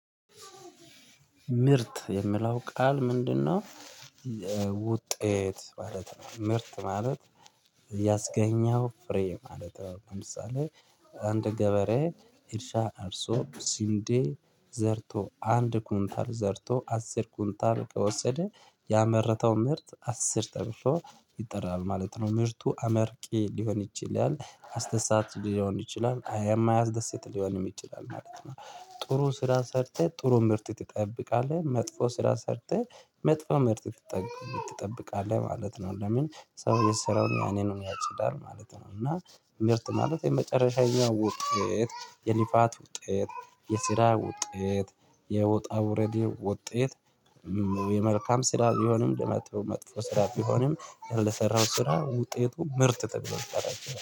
ምርት የምለው ቃል ምንድነው? ውጤት ማለት ነው ምርት ማለት ያስገኘው ፍሬ ማለት ነው። ለምሳሌ አንድ ገበሬ እርሻ አርሶ ስንዴ ዘርቶ አንድ ኮንታል ዘርቶ አስር ኮንታል ከወሰደ ያመረተው ምርት አስር ተርፎ ይጠራል ማለት ነው። ምርቱ አመርቂ ሊሆን ይችላል አስደሳች ሊሆን ይችላል አያማያስደሰት ሊሆን ይችላል ማለት ነው። ጥሩ ስራ ሰርተህ ጥሩ ምርት ትጠብቃለህ መጥፎ ስራ ሰርተህ መጥፎ ምርት ትጠብቃለህ ማለት ነው። ለምን ሰው የሰራውን ያንኑ ያጭዳል ማለት ነው። እና ምርት ማለት የመጨረሻዬን ውጤት የሊፋት ውጤት የስራ ውጤት የውጣ ውረዱ ውጤት። የመልካም ስራ ቢሆንም የመጥፎ መጥፎ ስራ ቢሆንም ለምሰራኸው ስራ ውጤቱ ምርት ተብሎ ይጠራል